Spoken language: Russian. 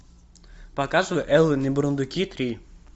показывай элвин и бурундуки три